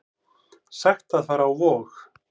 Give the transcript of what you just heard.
Sagt að fara á Vog